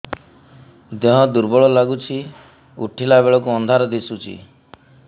ଦେହ ଦୁର୍ବଳ ଲାଗୁଛି ଉଠିଲା ବେଳକୁ ଅନ୍ଧାର ଦିଶୁଚି